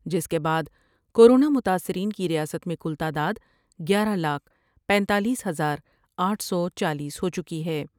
جس کے بعد کورونا متاثرین کی ریاست میں کل تعداد گیارہ لاکھ پینتالیس ہزار آٹھ سو چالس ہو چکی ہے ۔